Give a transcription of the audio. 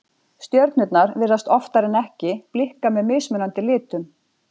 Stjörnurnar virðast oftar en ekki blikka með mismunandi litum.